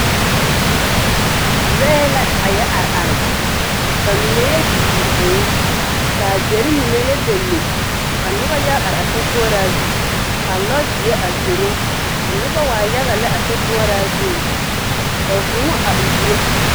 Lɔɛ la a yɔ are are ka mine yɔ di di vũũ ka deri mine yɔ lele, ka noba yɔ are are a sokoɔraa zu ka lɔzeɛ a zoro. Ka noba waa yaga lɛ a sokoɔraa zuŋ. Ka vũũ a uuro.